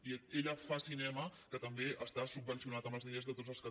i ella fa cinema que també està subvencionat amb els diners de tots els catalans